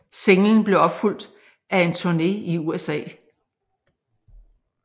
Singlen blev opfulgt af en turne i USA